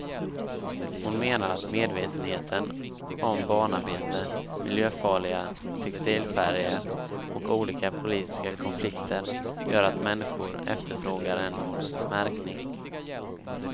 Hon menar att medvetenheten om barnarbete, miljöfarliga textilfärger och olika politiska konflikter gör att människor efterfrågar en märkning.